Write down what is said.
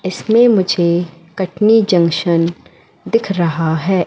इसमें मुझे कटनी जंक्शन दिख रहा हैं।